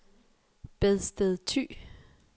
Bedsted Thy